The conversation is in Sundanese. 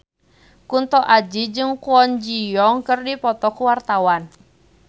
Kunto Aji jeung Kwon Ji Yong keur dipoto ku wartawan